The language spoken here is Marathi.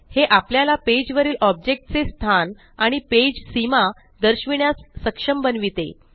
हे आपल्याला पेज वरील ऑब्जेक्ट चे स्थान आणि पेज सीमा दर्शविण्यास सक्षम बनविते